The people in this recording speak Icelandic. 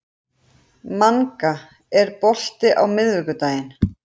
Manga, er bolti á miðvikudaginn?